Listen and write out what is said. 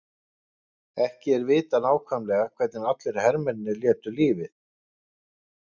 Ekki er vitað nákvæmlega hvernig allir hermennirnir létu lífið.